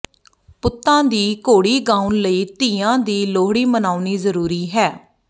ਪੁੱਤਾਂ ਦੀ ਘੋੜੀ ਗਾਉਂਣ ਲਈ ਧੀਆਂ ਦੀ ਲੋਹੜੀ ਮਨਾਉਣੀ ਜ਼ਰੂਰੀ ਹੈ